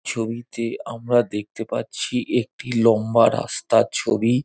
ছবিতে আমরা দেখতে পাচ্ছি একটি লম্বা রাস্তার ছবি |